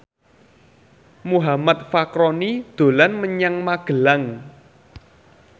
Muhammad Fachroni dolan menyang Magelang